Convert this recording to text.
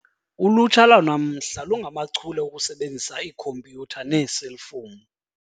Ulutsha lwanamhla lungachule okusebenzisa ikhompyutha neeselfowuni.